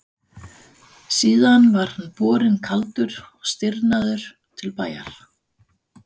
Síðan var hann borinn kaldur og stirðnaður til bæjar.